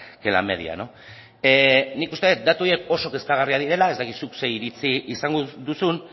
que la media nik uste dut datu horiek oso kezkagarriak direla ez dakit zuk zer iritzi izango duzun